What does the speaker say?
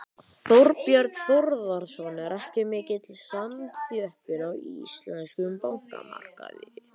Þorbjörn Þórðarson: Er ekki mikil samþjöppun á íslenskum bankamarkaði?